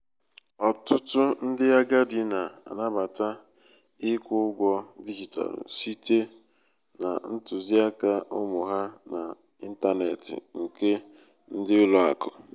ọtụtụ ndị agadi na-anabata ịkwụ ụgwọ dijitalụ site na ntuziaka ụmụ ha na intaneeti nke ndi ulo aku